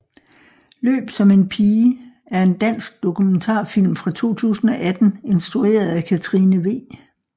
Løb som en pige er en dansk dokumentarfilm fra 2018 instrueret af Katrine W